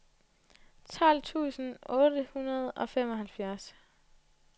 tolv tusind otte hundrede og femoghalvfjerds